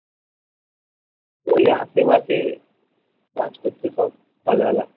ওই আসে পাশে কাজ করছে সব সকালবেলা